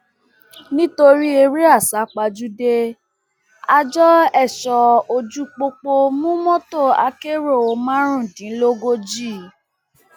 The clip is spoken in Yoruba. nítorí eré àsápajúdé àjọ ẹṣọ ojú pópó mú mọtò akérò márùndínlógójì